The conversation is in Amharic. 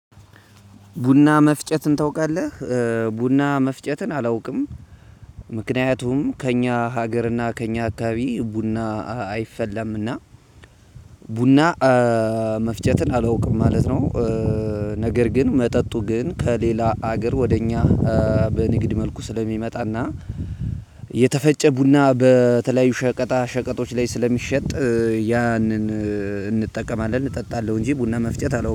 ቡና መፍጨትን ታውቃለ መፍጨትን አላውቅም ምክንያቱም ከእኛ ሀገር እና ከእኛ አከባቢ ቡና አይፈላምና። ቡና መፍጨትን አላውቅም ማለት ነው። ነገር ግን መጠጡ ግን ከሌላ ሀገር ወደ እኛ። በንግድ መልኩ ስለሚመጣና የተፈጨ ቡና በተለያዩ ሸቀጣ ሸቀጦች ላይ ስለሚሸጥ ያንን እንጠቀማለን እጠጣለሁ እንጂ ቡና መፍጨት አለው